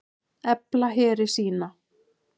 Efla heri sína